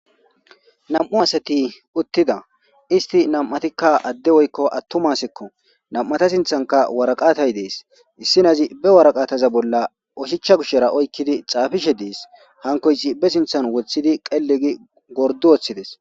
Nam7u asati uttida. Isti nam7atikka adde woykko attumasekko. Nam7ata sinthanka waraqatay dees. Issinazi be waraqaataza bolla oshichcha gushera oykkidi xaafishe dees. Hankoysi be sinthan wothidi qelli gi gordu woththides.